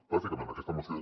bàsicament aquesta moció